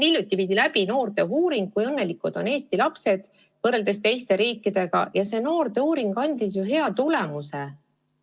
Hiljuti viidi noorte hulgas läbi uuring, kui õnnelikud on Eesti lapsed võrreldes teiste riikide lastega, ja see uuring andis hea tulemuse.